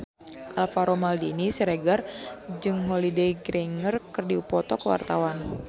Alvaro Maldini Siregar jeung Holliday Grainger keur dipoto ku wartawan